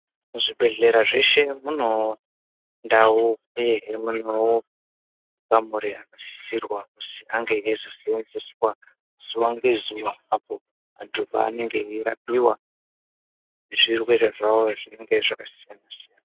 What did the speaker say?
Zvibhedhlera zveshe muno nDau uyehe mune makamuri anosisirwa kuzi ange eizosenzeswa zuwa ngezuwa apo vantu vanenge veirapiwa nezvirwere zvawo zvakasiyana siyana.